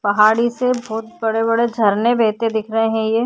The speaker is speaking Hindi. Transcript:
पहाड़ी से बोहोत बड़े-बड़े झरने बेहते दिख रहे है ये।